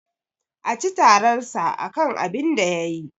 A ci tararsa akan abinda yayi.